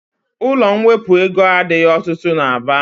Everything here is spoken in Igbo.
Ụlọ mwepụ ego adịghị ọtụtụ n'Aba.